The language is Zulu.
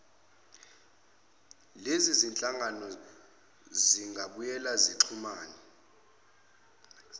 lezizinhlangano zingabuye zixhumane